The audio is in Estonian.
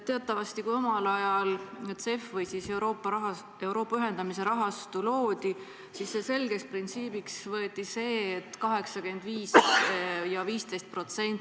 Teatavasti oli nii, et kui omal ajal CEF ehk Euroopa ühendamise rahastu loodi, siis võeti selgeks printsiibiks 85% : 15%.